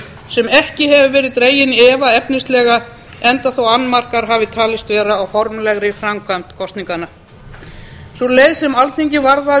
sem ekki hefur verið dregin í efa efnislega enda þótt annmarkar hafi talist vera á formlegri framkvæmd kosninganna sú leið sem alþingi varðaði